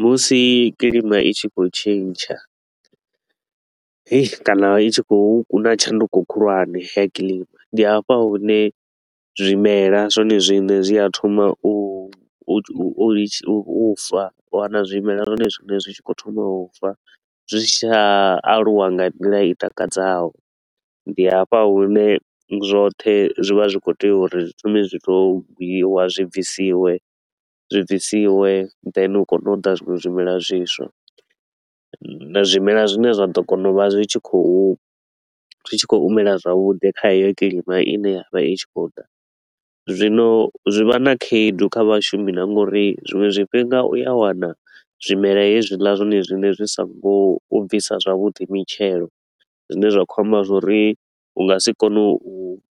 Musi kilima i tshi khou tshintsha, heyii kana i tshi khou huna tshanduko khulwane ya kilima, ndi hafha hune zwimelwa zwone zwine zwi a thoma u u litsha u u fa. U wana zwimelwa zwone zwine zwi tshi khou thoma u fa, zwi si tsha aluwa nga nḓila i takadzaho. Ndi hafha hune zwoṱhe zwi vha zwi khou tea uri zwi thome zwi to u gwiwa zwi bvisiwe, zwi bvisiwe, then hu kone u ḓa zwinwe zwimelwa zwiswa. Zwimela zwine zwa ḓo kona u vha zwi tshi khou zwi tshi khou mela zwavhuḓi kha heyo kilima i ne ya vha i tshi khou ḓa. Zwino zwi vha na khaedu kha vhashumi na nga uri zwiṅwe zwifhinga u a wana zwimela hezwiḽa zwone zwine zwi so ngo u bvisa zwavhuḓi mitshelo, zwine zwa khou amba zwa uri u nga si kone u